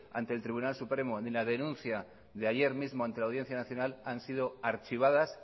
ante el tribunal supremo ni la denuncia de ayer mismo ante la audiencia nacional han sido archivadas